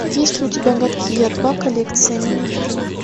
есть ли у тебя гадкий я два коллекция мини фильмов